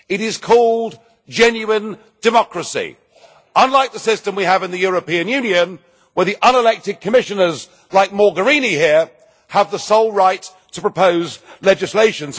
It is called genuine democracy unlike the system we have in the European Union, where the unelected Commissioners like Mogherini here have the sole right to propose legislation.